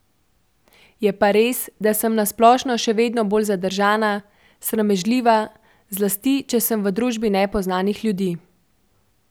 Je pa res, da sem na splošno še vedno bolj zadržana, sramežljiva, zlasti če sem v družbi nepoznanih ljudi.